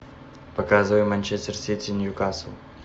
показывай манчестер сити ньюкасл